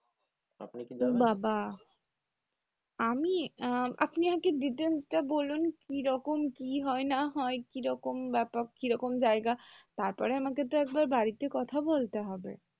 ওবাবা আমি? আপনি আগে details টা বলুন কীরকম কি হয় না হয় কীরকম ব্যাপার কীরকম জায়গা তারপরে তো আমাকে একবার বাড়িতে কথা বলতে হবে,